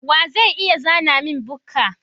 Wa zai iya zana min bukka?